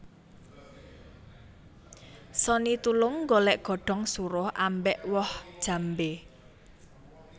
Sonny Tulung nggolek godhong suruh ambek woh jambe